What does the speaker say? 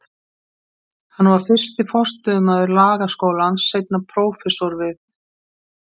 Hann var fyrsti forstöðumaður Lagaskólans, seinna prófessor við